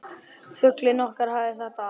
Fuglinn okkar hafði þetta allt.